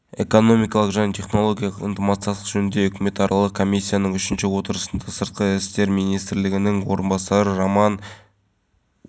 енді автобустар үшін де арнайы бекет ашылды көліктерге тұрақтар қарастырылған құрамында әр түрлі сала өкілдері бар арнайы комиссия мұндағы нысандардың талапқа